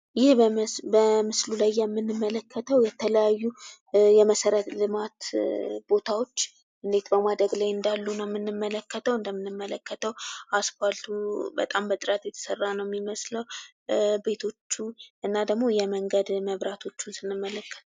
ይህ በምስሉ ላይ የምንመለከተው የተለያዩ የመሰረተ ልማት ቦታዎች እንዴት ነው ማደግ ላይ እንዳሉ ነው ምንመለከተው እንደምንመለከተው አስፋልቱ በጣም በጥራት የተሰራ ነው የሚመስለው ቤቶቹ እና ደግሞ የመንገድ መብራቶችን ስንመለከት።